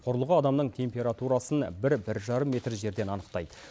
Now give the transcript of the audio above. құрылғы адамның температурасын бір бір жарым метр жерден анықтайды